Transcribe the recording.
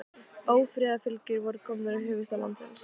Ófriðarfylgjur voru komnar í höfuðstað landsins.